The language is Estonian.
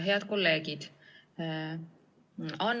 Head kolleegid!